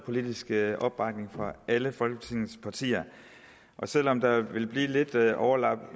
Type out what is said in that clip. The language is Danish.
politisk opbakning fra alle folketingets partier selv om der vil blive lidt overlap